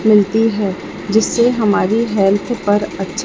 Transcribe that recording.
मिलती है जिससे हमारी हेल्थ पर अच्छ--